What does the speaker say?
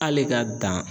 Hali ka dan